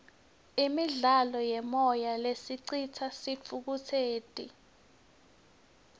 imidlalo yemoya lesicitsa sithukutseti